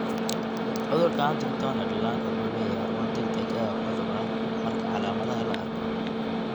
Cudurka Huntington ee dhallaanka wuxuu leeyahay horumar degdeg ah oo cudur ah marka calaamadaha la arko.